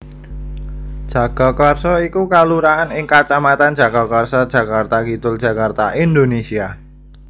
Jagakarsa iku kalurahan ing kacamatan Jagakarsa Jakarta Kidul Jakarta Indonésia